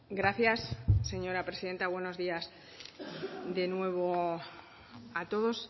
gracias señora presidenta buenos días de nuevo a todos